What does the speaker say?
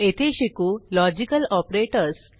येथे शिकू logical operators